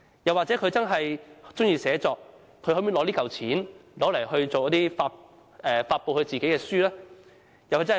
又或他真的喜歡寫作，他便可用這筆錢來發表自己的書籍。